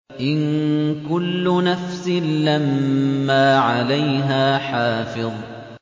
إِن كُلُّ نَفْسٍ لَّمَّا عَلَيْهَا حَافِظٌ